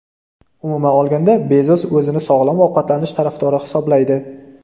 Umuman olganda, Bezos o‘zini sog‘lom ovqatlanish tarafdori hisoblaydi.